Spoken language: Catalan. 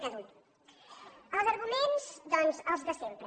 els arguments doncs els de sempre